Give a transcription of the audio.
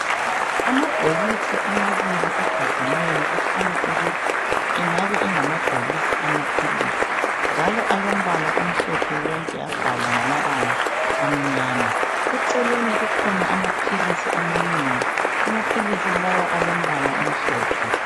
Amabhokisi amabili agadeneyo akhanya ukuthi engabe engamabhokisi amaphilisi njalo alombala omhlophe wonke abhalwa ngamabala amnyama. Eceleni kukhona amaphilisi amanengi. Amaphilisi lawa alombala omhlophe.